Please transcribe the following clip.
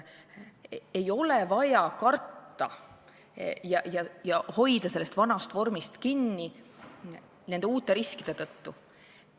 Ei ole vaja karta ja hoida sellest vanast vormist kinni nende uute riskide tõttu.